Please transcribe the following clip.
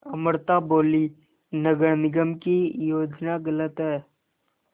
अमृता बोलीं नगर निगम की योजना गलत है